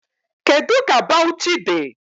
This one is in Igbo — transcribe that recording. Kedu ka Bawuchi dị?